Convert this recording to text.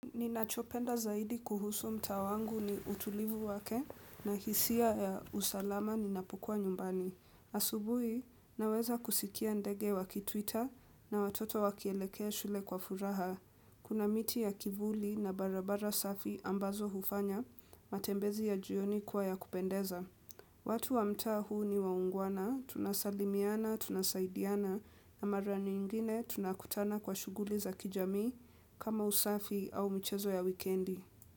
Ninachopenda zaidi kuhusu mtaa wangu ni utulivu wake, na hisia ya usalama ninapokuwa nyumbani. Asubuhi, naweza kusikia ndege wakitwita na watoto wakielekea shule kwa furaha. Kuna miti ya kivuli na barabara safi ambazo hufanya, matembezi ya jioni kuwa ya kupendeza. Watu wa mtaa huu ni waungwana, tunasalimiana, tunasaidiana, na mara nyingine tunakutana kwa shughuli za kijamii kama usafi au michezo ya wikendi.